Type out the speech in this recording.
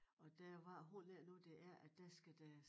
Og der var hvordan er det nu det er at der skal der